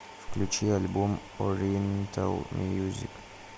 включи альбом ориентал мьюзик